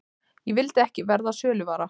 Ég vildi ekki verða söluvara.